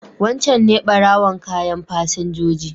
Wancan ne ɓarowan kayan fasinjoji.